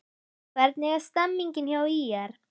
Hvernig er stemningin hjá ÍR?